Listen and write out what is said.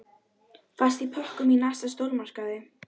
Fæst í pökkum í næsta stórmarkaði.